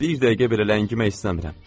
Bir dəqiqə belə ləngimək istəmirəm.